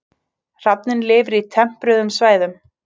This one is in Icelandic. Hrafninn lifir á tempruðum svæðum.